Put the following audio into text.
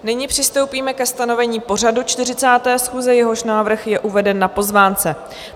Nyní přistoupíme ke stanovení pořadu 40. schůze, jehož návrh je uveden na pozvánce.